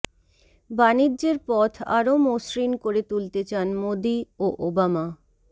বাণিজ্যের পথ আরও মসৃণ করে তুলতে চান মোদী ও ওবামা